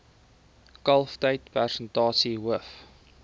kalftyd persentasie hoof